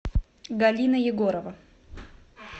галина егорова